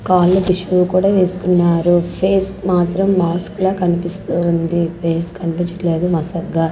కాళ్ళ కు షూ కూడా వేసుకున్నాడు పేస్ కి మాత్రం మాస్క్ ల కనిపిస్తావుంది పేస్ కనిపించడం లేదు మసగ్గా--